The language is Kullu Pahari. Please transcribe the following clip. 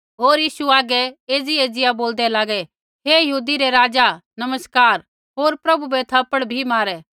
होर यीशु हागै एज़ी एज़िया बोल्दै लागै हे यहूदियै रै राज़ा नमस्कार होर प्रभु बै थप्पड़ भी मारै